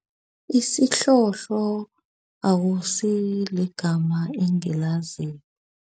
Isihlohlo akusiligama engilaziko.